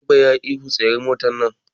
Direban yayi ihu 'Tsayar da motar nan'!